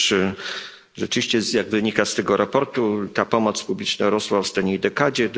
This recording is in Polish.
Otóż rzeczywiście, jak wynika z tego raportu, ta pomoc publiczna rosła w ostatniej dekadzie.